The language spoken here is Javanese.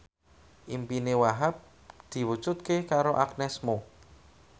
impine Wahhab diwujudke karo Agnes Mo